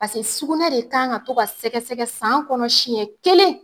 sukunɛ de kan ka to ka sɛgɛsɛgɛ san kɔnɔ siɲɛ kelen.